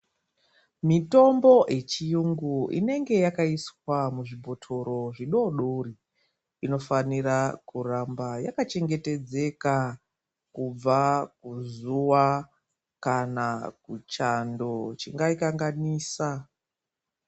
Mitombo ye chiyungu inenge yaka iswa mu zvibhotoro zvi dodori ino fanira ku ramba yaka chengetedzeka kubva ku zuva kana ku chando chingai kanganisa.